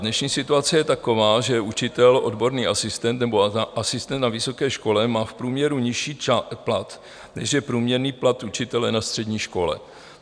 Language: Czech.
Dnešní situace je taková, že učitel, odborný asistent nebo asistent na vysoké škole má v průměru nižší plat, než je průměrný plat učitele na střední škole.